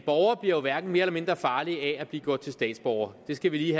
borger bliver jo hverken mere eller mindre farlig af at blive gjort til statsborger det skal vi